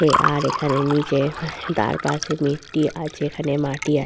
এ আর এখানে নিচে তার পাশে মিট্টি আছে এখানে মাটি আ--